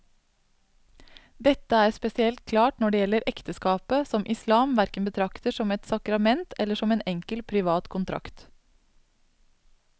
Dette er spesielt klart når det gjelder ekteskapet, som islam hverken betrakter som et sakrament eller som en enkel privat kontrakt.